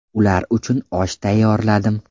Ular uchun osh tayyorladim.